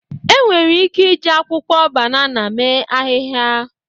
Enwere ike iji akwụkwọ banana mee ahịhịa.